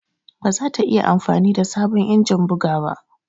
Ba za ta iya amfani da sabon injin buga ba.